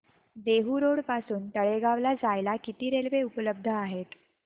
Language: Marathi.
देहु रोड पासून तळेगाव ला जायला किती रेल्वे उपलब्ध आहेत